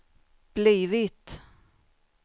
blivit